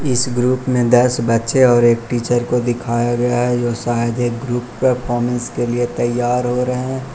इस ग्रुप में दस बच्चे और एक टीचर को दिखाया गया है जो शायद एक ग्रुप परफॉर्मेंस के लिए तैयार हो रहे हैं।